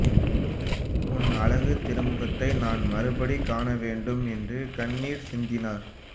உன் அழகுத் திருமுகத்தை நான் மறுபடி காண வேண்டும் என்று கண்ணீர் சிந்தினார்